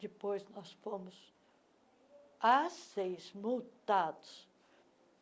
Depois, nós fomos as seis multados.